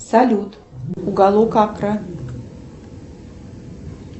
салют уголок акра